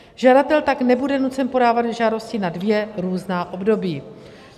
Žadatel tak nebude nucen podávat žádosti na dvě různá období.